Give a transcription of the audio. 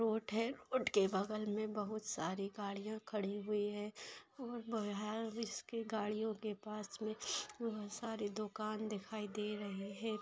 Road है road के बगल में बहुत सारी गाड़ियां खड़ी हुई है और है इसके गाड़ियों के पास में बहुत सारी दुकान दिखाई दे रही है।